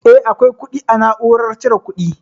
Eh akwai kuɗi a na'urar cire kuɗi